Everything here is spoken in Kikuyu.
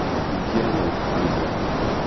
ingĩra na ibuku rĩaku